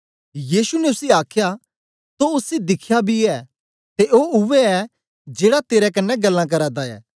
यीशु ने उसी आखया तो उसी दिख्या बी ऐ ते ओ उवै ए जेड़ा तेरे कन्ने ग्ल्लां करा दा ऐ